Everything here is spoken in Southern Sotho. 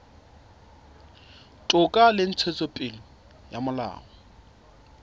toka le ntshetsopele ya molao